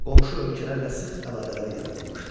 Qonşu ölkələrlə sıx əlaqələr yaradılmışdı.